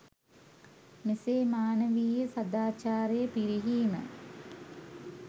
මෙසේ මානවීය සදාචාරය පිරිහීම